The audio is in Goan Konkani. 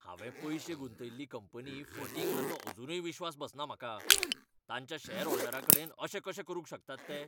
हांवें पयशें गुंतयल्ली कंपनी फटींग हाचो अजुनूय विस्वास बसना म्हाका. तांच्या शॅरहोल्डरांकडेनअशें कशें करूंक शकतात ते?